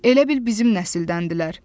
Elə bil bizim nəsildəndirlər.